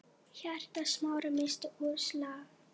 Hjarta Smára missti úr slag.